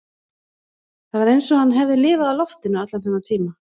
Það var eins og hann hefði lifað á loftinu allan þennan tíma